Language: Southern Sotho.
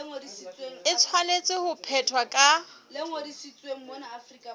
e tshwanetse ho phethwa ka